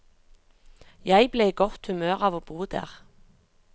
Jeg ble i godt humør av å bo der.